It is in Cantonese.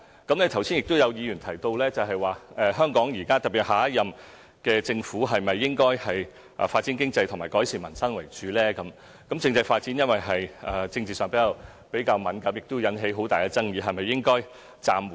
剛才有議員提到香港現在是否應該以發展經濟和改善民生為主？政制發展由於在政治上比較敏感，亦會引起很大的爭議，是否應該暫緩呢？